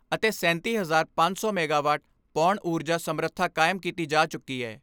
ਅਤੇ ਸੈਂਤੀ ਹਜ਼ਾਰ ਪੰਜ ਸੌ ਮੈਗਾਵਾਟ ਪੌਣ ਊਰਜਾ ਸਮਰਥਾ ਕਾਇਮ ਕੀਤੀ ਜਾ ਚੁੱਕੀ ਏ।